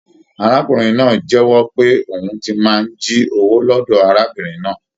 Arákùnrin náà jẹ̀wọ́ pé òhun tí màá n jí owó lọdọ arábìnrin náà.